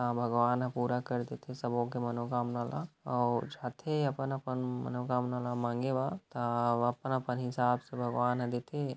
इहाँ भगवान ह पूरा कर देथे सबो के मनोकामना ल अऊ जाथे अपन-अपन मनोकामना ल मांगे बर त अपन-अपन हिसाब से भगवान ह देथे।